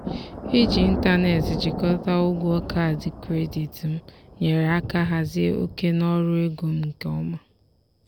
iji ịntanetị jikọta ụgwọ kaadị kredit m nyere aka hazie oke n'ọrụ ego m nke ọma.